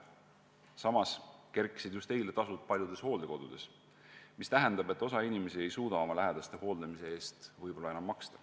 Samas kerkisid just eile paljude hooldekodude tasud, mis tähendab seda, et osa inimesi ei suuda oma lähedaste hooldamise eest võib-olla enam maksta.